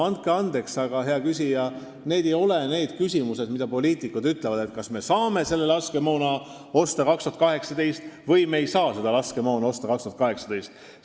Andke andeks, hea küsija, aga need ei ole sellised küsimused, mille kohta poliitikud saaksid öelda, kas me saame osta laskemoona aastal 2018 või me ei saa seda osta 2018.